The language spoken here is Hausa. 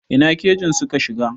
Ina kajin suka shiga?